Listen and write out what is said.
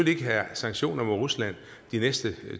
ikke have sanktioner mod rusland de næste